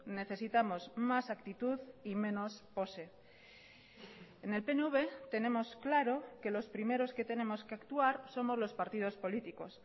necesitamos más actitud y menos pose en el pnv tenemos claro que los primeros que tenemos que actuar somos los partidos políticos